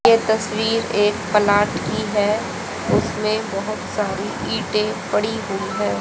ये तस्वीर एक प्लांट की है उसमें बहोत सारी ईंटे पड़ी हुई हैं।